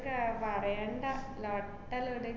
ക~ പറയണ്ട, നട്ടെല്ലൊടിഞ്ഞ്.